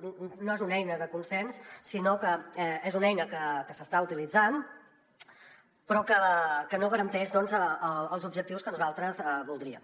no és una eina de consens sinó que és una eina que s’està utilitzant però que no garanteix els objectius que nosaltres voldríem